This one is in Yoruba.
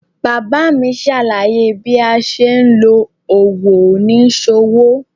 Bàbá mi ṣàlàyé bí a ṣe ń lo òwò oníṣòwò.